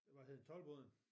Hvad hed den Tolboden?